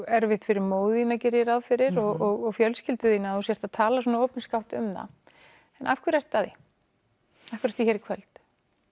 erfitt fyrir móður þína geri ég ráð fyrir og fjölskyldu þína að þú sért að tala svona opinskátt um það en af hverju ertu að því af hverju ertu hér í kvöld